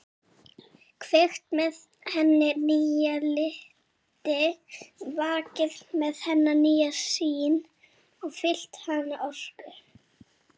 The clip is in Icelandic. Kveikt með henni nýja liti, vakið með henni nýja sýn og fyllt hana orku.